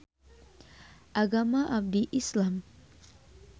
Agama abdi Islam